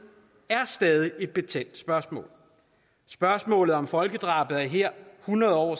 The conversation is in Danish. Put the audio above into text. er stadig et betændt spørgsmål spørgsmålet om folkedrabet er her hundrede år